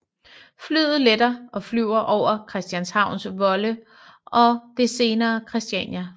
Flyet letter og flyver over Christianshavns Vold og det senere Christiania